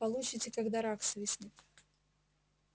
получите когда рак свистнет